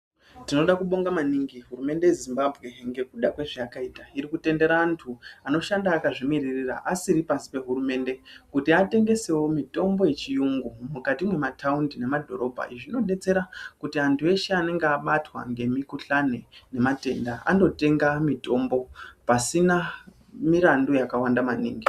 Tinoda kubonga maningi hurumende yeZimbabwe ngekuda kwezvayakaita iri kutendera antu anoshanda akazvimiririra asiri pashi pehurumende kuti atengesewo mitombo yechiyungu mukati mwemataundi nemadhorobha. Izvi zvinodetsera kuti antu eshe anenge abatwa nezvitenda nemikhuhlane anotenga mitombo pasina mirandu yakawanda maningi.